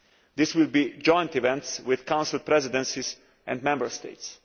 These will be joint events with Council Presidencies and Member States.